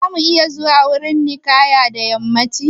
Za mu iya zuwa wurin ninkaya da yammacin yau?